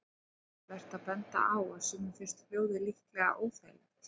Einnig er vert að benda á að sumum finnst hljóðið líklega óþægilegt.